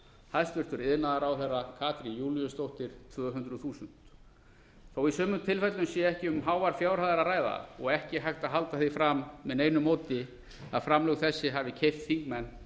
hæstvirtur iðnaðarráðherra katrín júlíusdóttir tvö hundruð þúsund þó í sumum tilfellum sé ekki um háar fjárhæðir að ræða og ekki hægt að halda því fram með neinu móti að framlög þessi hafi gert þingmenn